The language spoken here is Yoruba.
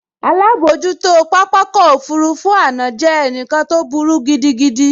Alábojútó pápákọ̀ òfurufú àná jẹ́ ẹnìkan tó burú gidigan